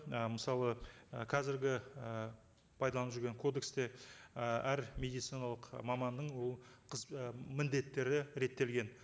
і мысалы і қазіргі і пайдаланып жүрген кодексте і әр медициналық маманның ол і міндеттері реттелген